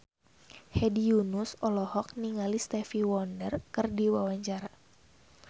Hedi Yunus olohok ningali Stevie Wonder keur diwawancara